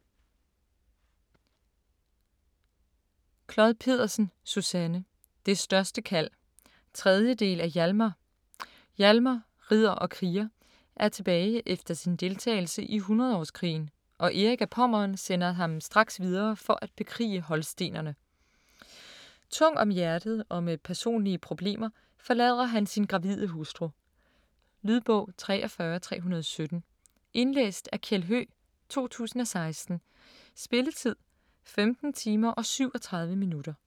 Clod Pedersen, Susanne: Det største kald 3. del af Hialmar. Hialmar - ridder og kriger - er tilbage efter sin deltagelse i hundredeårskrigen, og Erik af Pommern sender ham straks videre for at bekrige holstenerne. Tung om hjertet og med personlige problemer forlader han sin gravide hustru. . Lydbog 43317 Indlæst af Kjeld Høegh, 2016. Spilletid: 15 timer, 37 minutter.